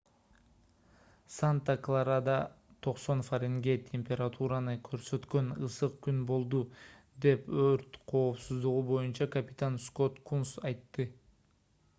санта-кларада 90 фаренгейт температураны көрсөткөн ысык күн болду - деп өрт коопсуздугу боюнча капитан скотт кунс айтты